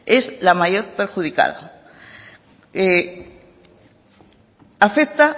es la mayor perjudicada afecta